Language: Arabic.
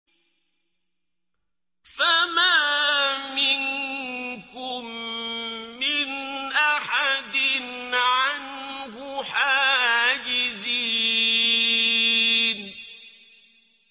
فَمَا مِنكُم مِّنْ أَحَدٍ عَنْهُ حَاجِزِينَ